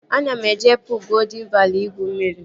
Ana m eje puul Goldịn Vali igwu mmiri